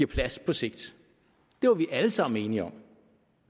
plads på sigt det var vi alle sammen enige om